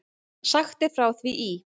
Sagt er frá því í